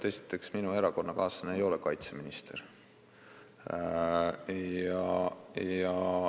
Esiteks, minu erakonnakaaslane ei ole kaitseminister.